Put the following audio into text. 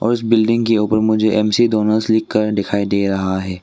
उस बिल्डिंग के ऊपर मुझे एमसी डोनाल्ड लिखकर दिखाई दे रहा है।